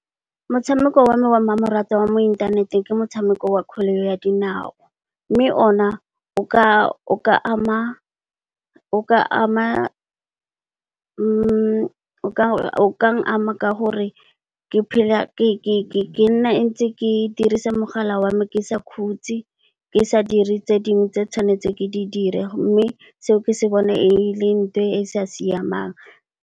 Motshameko wa me wa mmamoratwa wa mo inthaneteng ke motshameko wa kgwele ya dinao mme o na o kang ama ka gore ke nna ntse ke dirisa mogala wa me ke sa khutse, ke sa dire tse dingwe tse tshwanetseng ke di dire mme seo, ke se bone e le ntho e sa siamang.